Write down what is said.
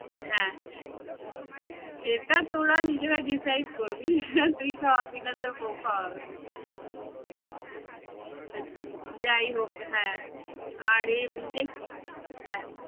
হ্যাঁ সেটা তোরা নিজেরা decide করবি তুই খাওয়াবি না তোর বউ খাওয়াবে। যাই হোক হ্যাঁ আর দেখ~